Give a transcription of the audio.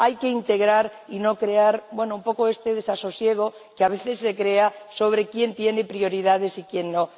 Hay que integrar y no crear, bueno, un poco este desasosiego que a veces se crea sobre quién tiene prioridades y quién no.